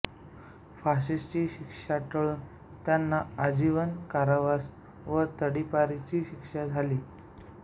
फाशीची शिक्षा टळून त्यांना आजीवन कारावास व तडीपारीची शिक्षा झाली